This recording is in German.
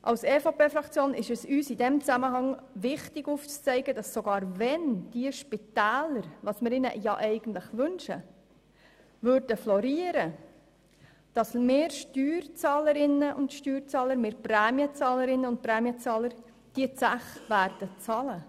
Als EVP-Fraktion ist es uns in diesem Zusammenhang wichtig aufzuzeigen, dass sogar, wenn diese Spitäler – was wir ihnen eigentlich wünschen – florieren würden, wir Steuerzahlerinnen und Steuerzahler, wir Prämienzahlerinnen und Prämienzahler die Zeche bezahlen werden.